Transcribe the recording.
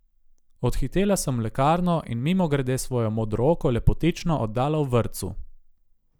Odhitela sem v lekarno in mimogrede svojo modrooko lepotično oddala v vrtcu.